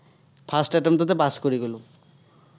first attempt তে pass কৰি গ'লো।